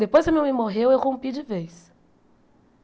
Depois que a minha mãe morreu, eu rompi de vez.